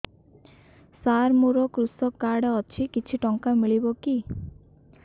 ସାର ମୋର୍ କୃଷକ କାର୍ଡ ଅଛି କିଛି ଟଙ୍କା ମିଳିବ କି